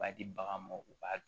B'a di bagan ma u b'a